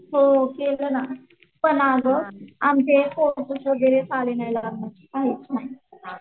हो केलं ना पण अगं आमचे फोटोज वगैरे आले नाहीत